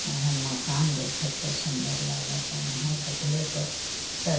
यहाँ माकन देखत के सुन्दर लागता। यहाँ देखले के स --